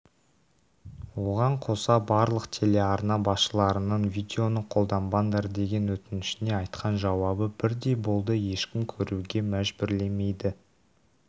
оған қоса барлық телеарна басшыларының видеоны қолданбаңдар деген өтінішіне айтқан жауабы бірдей болды ешкім көруге мәжбүрлемейді